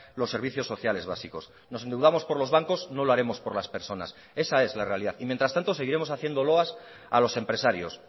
los servicios sociales básicos nos endeudamos por los bancos no lo haremos por las personas esa es la realidad y mientras tanto seguiremos haciendo loas a los empresarios